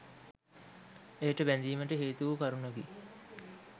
එයට බැඳීමට හේතුවූ කරුණකි.